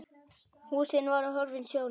Húsin voru horfin sjónum.